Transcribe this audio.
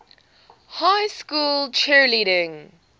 high school cheerleading